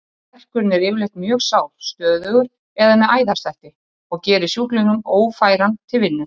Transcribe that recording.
Verkurinn er yfirleitt mjög sár, stöðugur eða með æðaslætti, og gerir sjúklinginn ófæran til vinnu.